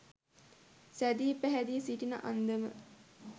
සැදී පැහැදී සිටින අන්දම